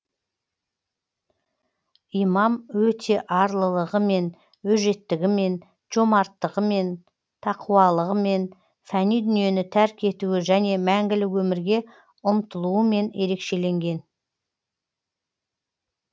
имам өте арлылығымен өжеттігімен жомарттығымен тақуалығымен фәни дүниені тәрк етуі және мәңгілік өмірге ұмтылуымен ерекшеленген